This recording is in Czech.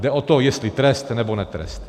Jde o to, jestli trest, nebo netrest.